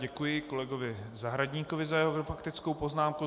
Děkuji kolegovi Zahradníkovi za jeho faktickou poznámku.